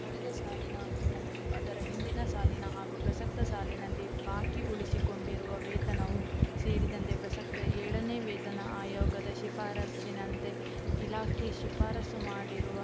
ಕಳೆದ ಸಾಲಿನ ಮತ್ತು ಅದರ ಹಿಂದಿನ ಸಾಲಿನ ಹಾಗೂ ಪ್ರಸಕ್ತ ಸಾಲಿನಲ್ಲಿ ಬಾಕಿ ಉಳಿಸಿಕೊಂಡಿರುವ ವೇತನವು ಸೇರಿದಂತೆ ಪ್ರಸಕ್ತ ಏಳನೇ ವೇತನ ಆಯೋಗದ ಶಿಫಾರಸ್ಸಿನಂತೆ ಇಲಾಖೆ ಶಿಫಾರಸ್ಸು ಮಾಡಿರುವ